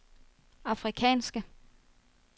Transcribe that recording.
afrikanske